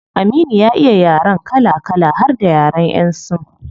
Aminu ya iya yaren kala kala har da yaren yan sin